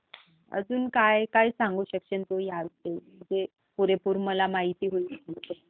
अजून काय काय सांगू शकशील तू ह्या विषयी ज्याने मला पुरेपूर माहिती मिळू शकेल